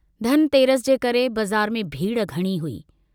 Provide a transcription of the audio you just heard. धन तेरस जे करे बज़ार में भीड़ घणी हुई।